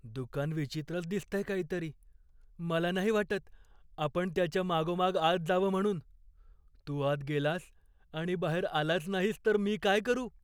दुकान विचित्रच दिसतंय काहीतरी. मला नाही वाटत, आपण त्याच्या मागोमाग आत जावं म्हणून. तू आत गेलास आणि बाहेर आलाच नाहीस तर मी काय करू?